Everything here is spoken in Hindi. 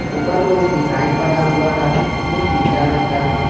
ऊपर कुछ डिजाइन बना हुआ है जो पीला रंग का है।